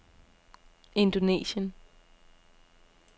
Indonesien